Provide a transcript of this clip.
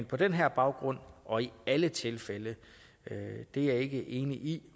på den her baggrund og i alle tilfælde er jeg ikke enig i